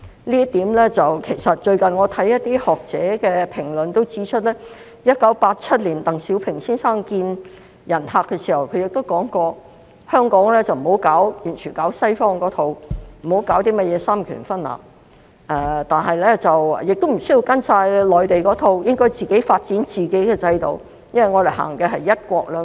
就這方面，最近我看到一些學者評論亦指出，其實鄧小平先生在1987年面見客人時說過，香港不應該完全行西方的一套，不要行三權分立，但也無須完全按照內地的一套，應該發展自己的制度，因為我們實行"一國兩制"。